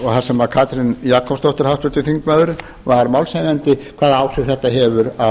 þar sem katrín jakobsdóttir háttvirtur þingmaður var málshefjandi hvaða áhrif þetta hefur á